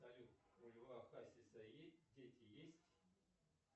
салют у льва хасиса есть дети есть